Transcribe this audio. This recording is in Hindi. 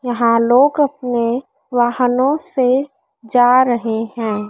यहां लोग अपने वाहनों से जा रहे हैं।